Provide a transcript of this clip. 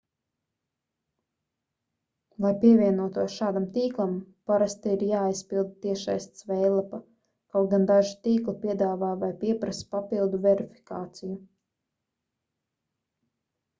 lai pievienotos šādam tīklam parasti ir jāaizpilda tiešsaistes veidlapa kaut gan daži tīkli piedāvā vai pieprasa papildu verifikāciju